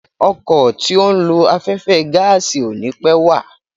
Ọkọ̀ tí ó ń lo afẹ́fẹ́ gáàsì ò ni pẹ́ wà.